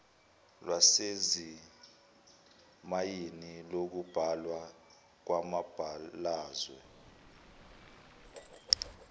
lwasezimayini lokubhalwa kwamabalazwe